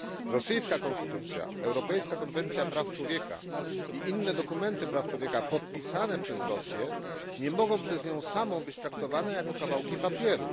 Rosyjska konstytucja, europejska konwencja praw człowieka i inne dokumenty dotyczące praw człowieka podpisane przez Rosję nie mogą być przez nią samą traktowane jako kawałki papieru.